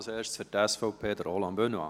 Als Erstes, für die SVP, Roland Benoit.